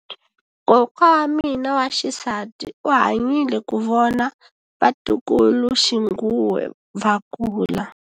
Kokwa wa mina wa xisati u hanyile ku vona vatukuluxinghuwe va kula.